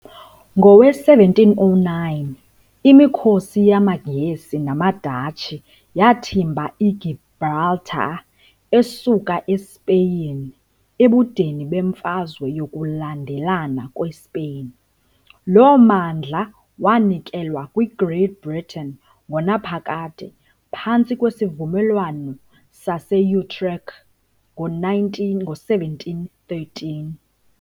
Ngowe-1709, imikhosi yamaNgesi namaDatshi yathimba iGibraltar esuka eSpeyin ebudeni beMfazwe yokuLandelana kweSpeyin . Lo mmandla wanikelwa kwi-Great Britain ngonaphakade phantsi kweSivumelwano sase-Utrecht ngo-1713.